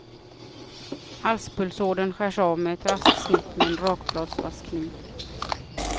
Halspulsådern skärs av med ett raskt snitt med en rakbladsvass kniv.